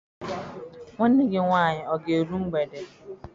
Nwanne gị nwaanyị ọ ga-eru mgbede?